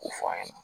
K'o fɔ an ɲɛna